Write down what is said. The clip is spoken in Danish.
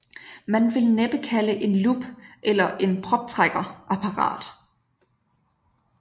Man vil næppe kalde en lup eller en proptrækker apparat